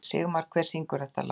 Sigmar, hver syngur þetta lag?